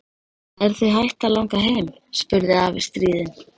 Er þig hætt að langa heim? spurði afi stríðinn.